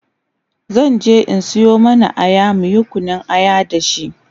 zanje in Sayo mana Aya muyi Kunun aya da shi